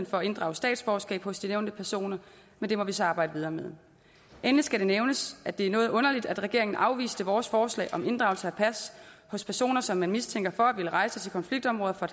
for at inddrage statsborgerskab hos de nævnte personer men det må vi så arbejde videre med endelig skal det nævnes at det er noget underligt at regeringen afviste vores forslag om inddragelse af pas hos personer som man mistænker for at ville rejse til konfliktområder